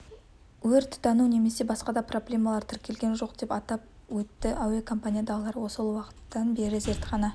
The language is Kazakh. өрт тұтану немесе басқа да проблемалар тіркелген жоқ деп атап өтті әуекомпаниядағылар сол уақыттан бері зертхана